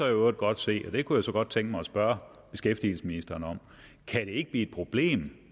øvrigt godt se og det kunne jeg så godt tænke mig at spørge beskæftigelsesministeren om kan det ikke blive et problem